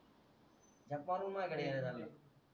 झाक मारून माझ्या कडे येणं आहे त्यांना